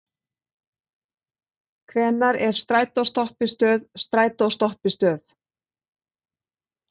Hvenær er strætóstoppistöð strætóstoppistöð?